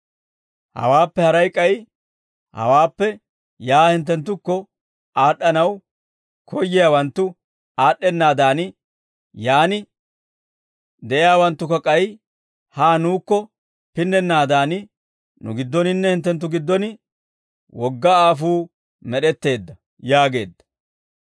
« ‹Hawaappe haray k'ay, hawaappe yaa hinttenttukko aad'd'anaw koyyiyaawanttu aad'd'ennaadan, yaan de'iyaawanttukka k'ay haa nuukko pinnennaadan, nu giddoninne hinttenttu giddon wogga aafuu med'etteedda› yaageedda.